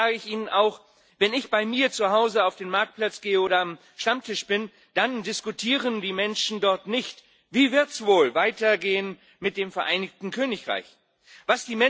Allerdings sage ich Ihnen auch Wenn ich bei mir zu Hause auf den Marktplatz gehe oder am Stammtisch bin, dann diskutieren die Menschen dort nicht, wie es wohl mit dem Vereinigten Königreich weitergehen wird.